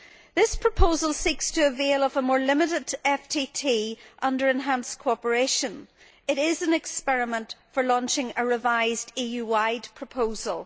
This proposal seeks to establish a more limited FTT under enhanced cooperation. It is an experiment for launching a revised EU wide proposal.